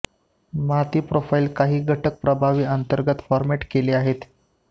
माती प्रोफाइल काही घटक प्रभाव अंतर्गत फॉरमॅट केले आहेत